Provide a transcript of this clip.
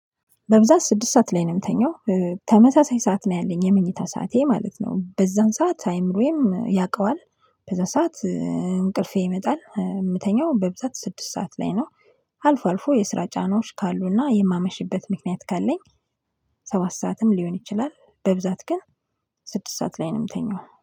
በብዛት ስድስት ሰዓት ላይ ነው የምተኛው። ተመሳሳይ ሰዓት ነው ያለኝ የመኝታ ሰዓቴ ማለት ነው። በዛን ሰዓት አይምሮዬም ያውቀዋል በዛ ሰዓት እንቅልፌ ይመጣል የምተኛው በብዛት ስድስት ሰዓት ላይ ነው። አልፎ አልፎ የስራ ጫናዎች ካሉና የማመሽበት ምክንያት ካለኝ ሰባት ሰዓትም ሊሆን ይችላል፤ በብዛት ግን ስድስት ሰዓት ላይ ነው የምተኛው።